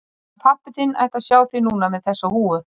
Hann pabbi þinn ætti að sjá þig núna með þessa húfu.